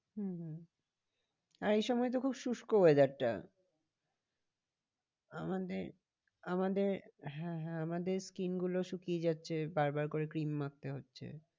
হম হম এই সময় তো খুব শুষ্ক weather টা আমাদের আমাদের হ্যাঁ হ্যাঁ আমাদের skin গুলো শুকিয়ে যাচ্ছে বার বার করে ক্রিম মাখতে হচ্ছে।